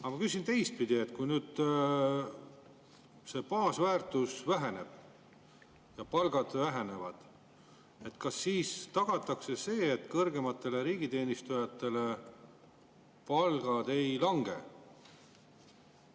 Aga ma küsin sedapidi: kui nüüd see baasväärtus väheneb ja palgad vähenevad, kas siis tagatakse see, et kõrgemate riigi palgad ei lange?